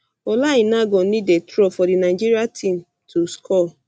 ola aina go need dey throw dey throw for di nigeria team to score